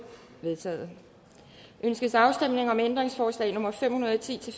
vedtaget ønskes afstemning om ændringsforslag nummer fem hundrede og ti til